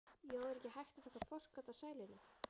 Jói, er ekki hægt að taka forskot á sæluna?